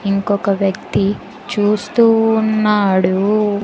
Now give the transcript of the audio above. ఇంకొక వ్యక్తి చూస్తూ ఉన్నాడు.